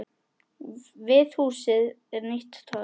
Við húsið er nýtt torg.